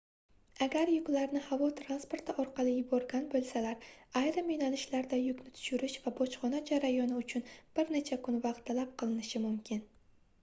agar yuklarni havo transporti orqali yuborgan boʻlsalar ayrim yoʻnalishlarda yukni tushirish va bojxona jarayoni uchun bir necha kun vaqt talab qilinishi mumkin